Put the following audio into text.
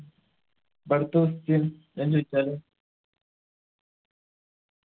അപ്പൊ അടുത്ത question ഞാൻ ചോയിച്ചാലോ